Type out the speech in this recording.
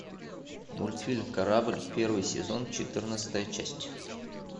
мультфильм корабль первый сезон четырнадцатая часть